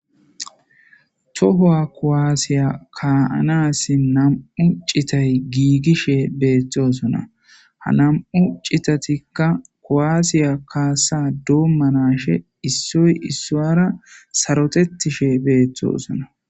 Tohowa kowaasiya kaaanassin nam'u citay giigishe beeththosona ha nam'u citatikka kowaasiya kaasa doommanashe issoy issoara sarotettishe beeththosona.